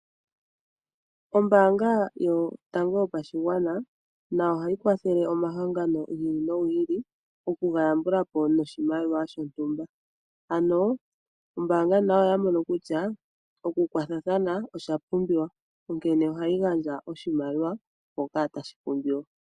Ombaanga yotango yopashigwana nayo ohayi kwathele omahangano gi ili nogi ili okuga yambula po noshimaliwa shontumba. Ombaanga nayo oya mono kutya oku kwathathana okwa pumbiwa onkene ohayi gandja oshimaliwa mpoka tashi pumbiwa.